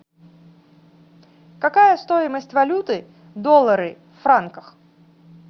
какая стоимость валюты доллары в франках